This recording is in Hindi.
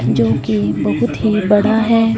क्योंकी बहुत ही बड़ा है।